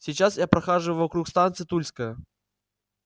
сейчас я прохаживался вокруг станции тульская